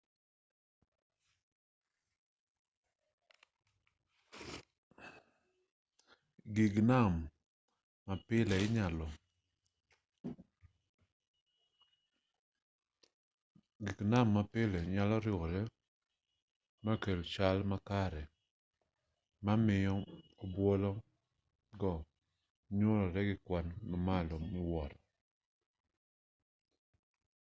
gik nam ma pile nyalo riwore makel chal makare ma miyo obuolo go nyuolore gi kwan mamalo miwuoro